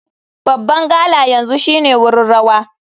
Babban gala yanzu shine wurin rawa.